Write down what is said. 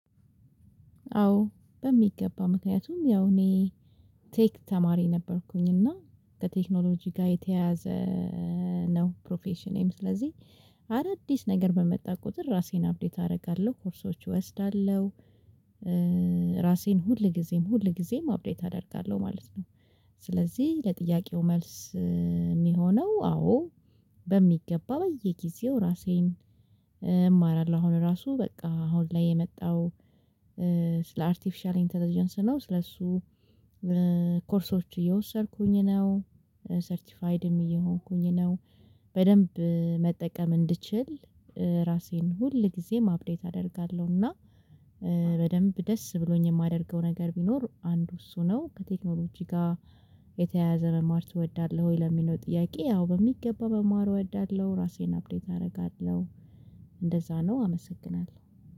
አዎ በሚገባ ምክንያቱም ያው እኔ ቴክ ተማሪ ነበርኩኝ እና ከቴክኖሎጂ ጋር የተያያዘ ነው ፕሮፌሽኔም ስለዚህ አዳዲስ ነገር በመጣ ቁጥር ራሴን አፕዴት አደርጋለሁ ኮርሶች እወስዳለሁ። ራሴን ሁል ጊዜም ሁል ጊዜም አፕዴት አደርጋለሁ ማለት ነው። ስለዚህ ለጥያቄው መልስ የሚሆነው አዎ። በሚገባ በየጊዜው ራሴን እማራለሁ አሁን ራሱ በቃ አሁን ላይ የመጣው። ስለ አርቲፊሻል ኢንተለጀንስ ነው። ስለሱ ኮርሶች እየወሰድኩኝ ነው። ሰርቲፋይድም እየሆንኩኝ ነው። በደንብ መጠቀም እንድችል ራሴን ሁል ጊዜም አፕዴት አደርጋለሁና። በደንብ ደስ ብሎኝ የማደርገው ነገር ቢኖር አንዱ እሱ ነው። ከቴክኖሎጂ ጋር የተያያዘ መማር ትወዳለህ ወይ ለሚለው ጥያቄ? አው በሚገባ መማር እወዳለሁ ራሴን አፕዴት አደርጋለሁ። እንደዛ ነው። አመሰግናለሁ